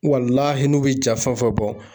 n'u bɛ ja fɛn o fɛn bɔ